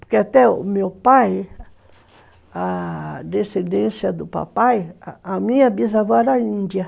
Porque até o meu pai, a descendência do papai, a minha bisavó era índia.